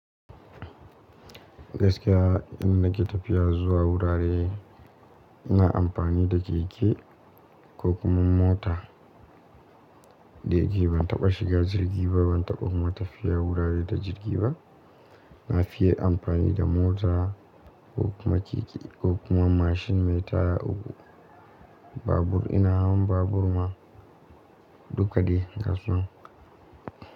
Gaskiya in nake tafiya zuwa wurare ina amfani da keke ko kuma mota. Da gari ban taɓa shiga jirgi ba, ban taɓa kuma tafiya wurare da jirgi ba. Na fiye amfani da mota ko kuma keke ko kuma mashin mai taya uku. Babur ina hawan babur ma duka dai ga su.